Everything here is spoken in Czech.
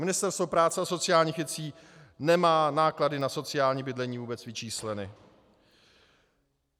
Ministerstvo práce a sociálních věcí nemá náklady na sociální bydlení vůbec vyčísleny.